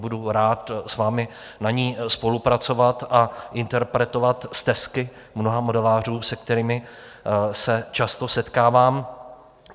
Budu rád s vámi na ní spolupracovat a interpretovat stesky mnoha modelářů, se kterými se často setkávám.